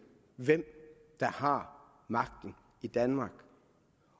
hvem der har magten i danmark